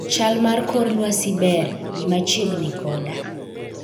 chal mar kor lwasi ber, bi machiegni koda